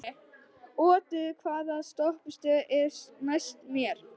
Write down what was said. Otur, hvaða stoppistöð er næst mér?